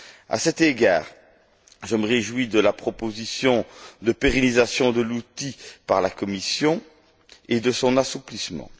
À cet égard, je me réjouis de la proposition de pérennisation de l'outil par la Commission et de son assouplissement.